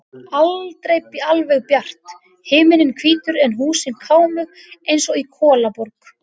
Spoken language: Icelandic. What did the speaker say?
Aldrei alveg bjart, himinninn hvítur en húsin kámug eins og í kolaborg.